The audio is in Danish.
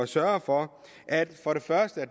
sørge for at